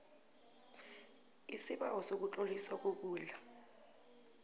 isibawo sokutloliswa kokudla